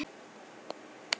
Hvernig kom það til?